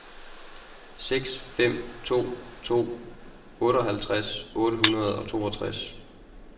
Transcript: seks fem to to otteoghalvtreds otte hundrede og toogtres